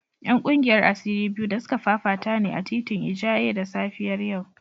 ‘Yan kungiyar asiri biyu da suka fafata ne a titin Ijaye da safiyar yau